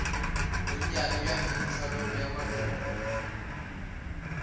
bonnyane bja peditharong ya maloko